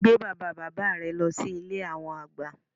Gbé bàbá bàbá rẹ lọ sí Ilé àwọn àgbà